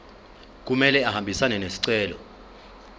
kumele ahambisane nesicelo